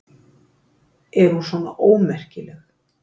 Er hún svona ómerkileg?